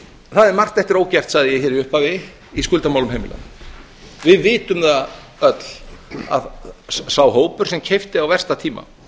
er margt eftir ógert sagði ég hér í upphafi í skuldamálum heimilanna við vitum það öll að sá hópur sem keypti á versta tíma